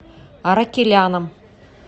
аракеляном